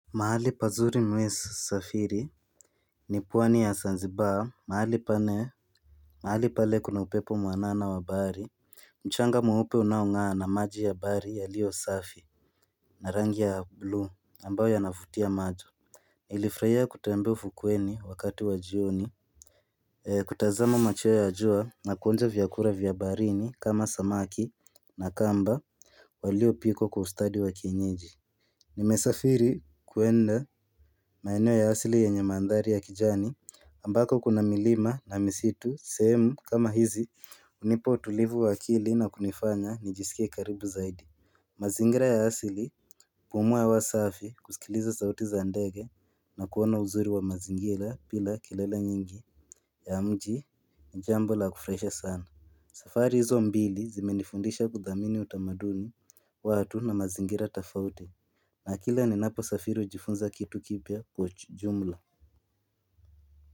Mahali pazuri mimi husafiri ni pwani ya zanzibaa mahali pale kuna upepo mwanana wa bahari mchanga mweupe unaong'aa na maji ya bahari yaliyo safi na rangi ya blue ambayo yanavutia macho nilifurahia kutembea ufukweni wakati wa jioni kutazama machweo ya jua na kuonja vyakula vya baharini kama samaki na kamba waliopikwa kwa ustadi wa kienyeji Nimesafiri kwenda maeneo ya asili yenye mandhari ya kijani ambako kuna milima na misitu sehemu kama hizi hunipa utulivu wa akili na kunifanya nijisikie karibu zaidi mazingira ya asili kupumua hewa safi kusikiliza sauti za ndege na kuona uzuri wa mazingira bila kelele nyingi ya mji ni jambo la kufurahisha sana safari hizo mbili zimenifundisha kudhamini utamaduni watu na mazingira tofauti na kila ni naposafiri hujifunza kitu kipya kwa jumla.